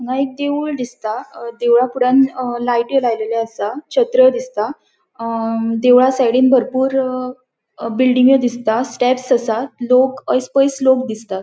हांगा एक देऊळ दिसता देवळा फुड्यान अ लायत्यो लायल्यो असा दिसता अ देवळा साइडीन बरपुर बिल्डिंग्यो दिसता स्टेप्स असा लोक अयेस पयेस लोक दिसता.